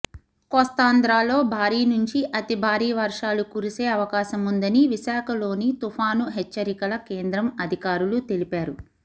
కోస్తాంధ్రలో భారీ నుంచి అతి భారీ వర్షాలు కురిసే అవకాశముందని విశాఖలోని తుపాను హెచ్చరికల కేంద్రం అధికారులు తెలిపారు